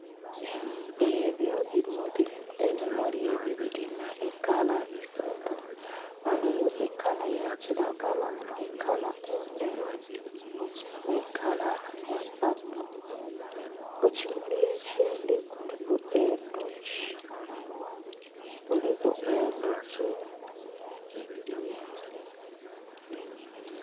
Ebyo bimuli, ebimuli ebyo bilinha ekala isatu ghaligho ekala ya kilagala, ekala endheru nhe kala ya paapo, ekimuli ekindhi kuliku endhoki endhoki, kuliku endhoki.